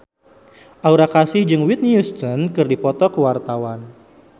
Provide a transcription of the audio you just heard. Aura Kasih jeung Whitney Houston keur dipoto ku wartawan